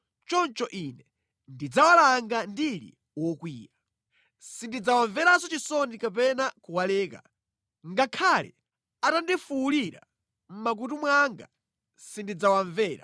Choncho Ine ndidzawalanga ndili wokwiya. Sindidzawamvera chisoni kapena kuwaleka. Ngakhale atandifuwulira mʼmakutu mwanga sindidzawamvera.”